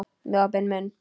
Með opinn munn.